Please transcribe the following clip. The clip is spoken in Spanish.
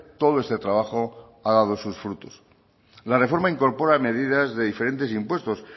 todo este trabajo ha dado sus frutos la reforma incorpora medidas de diferentes impuestos